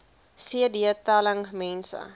cd telling mense